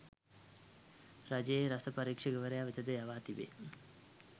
රජයේ රස පරීක්‍ෂකවරයා වෙතද යවා තිබේ.